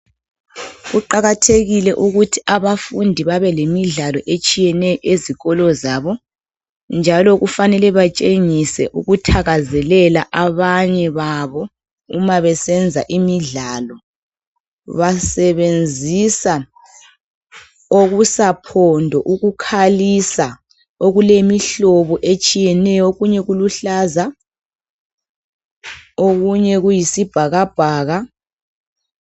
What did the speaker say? Kuqakathekile ukuthi abafundi babelemidlalo etshiyeneyo ezikolo zabo, njalo kufanele batshengise ukuthakazelele abanye babo. Uma besenza imidlalo, basebenzisa okusaphondo ukukhalisa. Okulemihlobo etshiyeneyo. Okunye kuluhlaza. Okunye kuyisibhakabhaka.